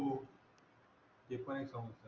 हो